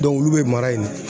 olu bɛ mara yen nɔ.